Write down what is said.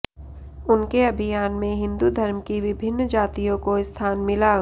उनके अभियान में हिंदू धर्म की विभिन्न जातियों को स्थान मिला